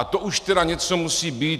A to už tedy něco musí být.